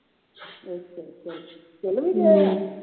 ਅੱਛਾ ਅੱਛਾ ਚੱਲ ਵੀ ਗਏ ਆ